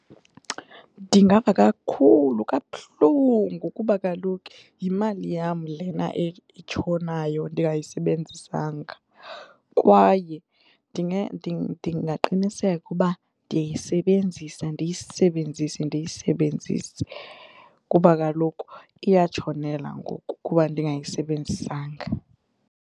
Ndingava kakhulu kabuhlungu ngokuba kaloku yimali yam lena etshonayo ndingayisebenzisanga kwaye ndingaqiniseka uba ndiyisebenzisa ndiyisebenzise ndiyisebenzise kuba kaloku iyatshonela ngoku kuba ndingayisebenzisanga.